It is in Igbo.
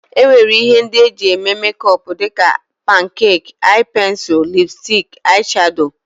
E nwere ihe ndị e jị eme mekọp dịka, pankek, aị pensil, lipstik, aị shado.